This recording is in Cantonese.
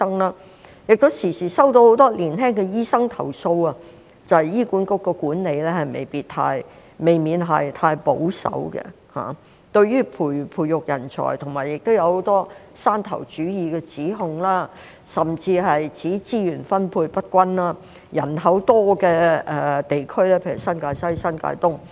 我亦時常收到很多年輕的醫生投訴，指醫管局的管理未免太保守，對於培育人才方面，亦有很多山頭主義的指控，甚至指資源分配不均，人口多的地區，人口遠遠多於港島，但資源卻趕不上。